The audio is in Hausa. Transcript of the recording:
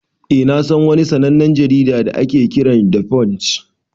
Eh na San wani sannanen jarida da ake Kiran 'the punch'